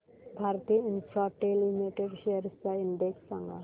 Bharti Infratel Limited shares चा index सांगा